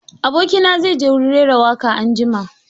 Aboki na zai je wurin rera waƙa anjima.